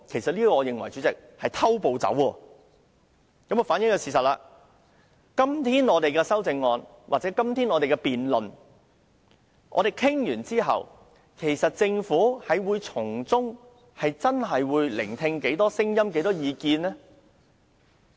主席，我認為這種"偷步走"行為反映了事實——即使本會今天討論議案或完成辯論，政府會聆聽多少聲音和意見呢？